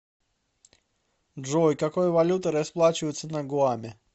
джой какой валютой расплачиваются на гуаме